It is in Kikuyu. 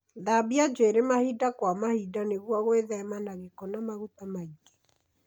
Thambia njwĩrĩ mahinda kwa mahinda nĩguo gwithema na gĩko na maguta maingĩ.